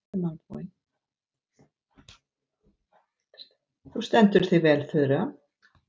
Þú stendur þig vel, Þura!